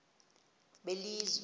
belizwe